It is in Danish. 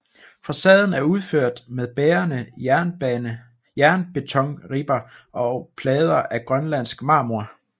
Facaden er udført med bærende jernbetonribber og plader af grønlandsk marmor